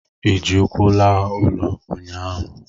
ị ji ụkwụ laa ụlọ ụnyahụ?